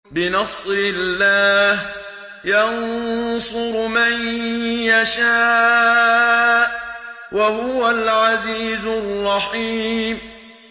بِنَصْرِ اللَّهِ ۚ يَنصُرُ مَن يَشَاءُ ۖ وَهُوَ الْعَزِيزُ الرَّحِيمُ